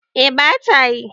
eh ba ta yi